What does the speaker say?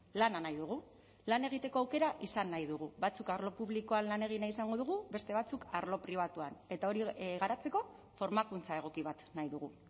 lana nahi dugu lan egiteko aukera izan nahi dugu batzuk arlo publikoan lan egin nahi izango dugu beste batzuk arlo pribatuan eta hori garatzeko formakuntza egoki bat nahi dugu